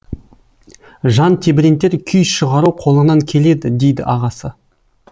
жан тебірентер күй шығару қолыңнан келеді дейді ағасы